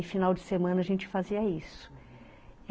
Aí, final de semana, a gente fazia isso.